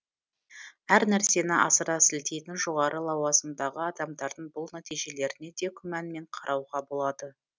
әр нәрсені асыра сілтейтін жоғары лауазымдағы адамдардың бұл нәтижелеріне де күмәнмен қарауға болады